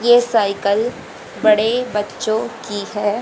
ये साइकिल बड़े बच्चों की हैं।